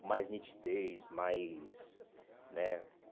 Com mais nitidez, mais... né